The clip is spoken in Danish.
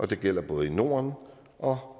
det gælder både i norden og